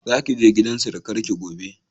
Za ki je gidan surukar ki gobe